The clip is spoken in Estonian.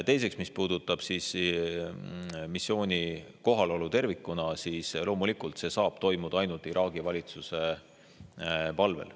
Teiseks, mis puudutab missiooni kohalolu tervikuna, siis loomulikult see saab toimuda ainult Iraagi valitsuse palvel.